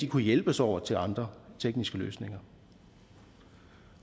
kunne hjælpes over til andre tekniske løsninger